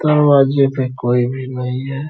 दरवाजे पे कोई भी नहीं है।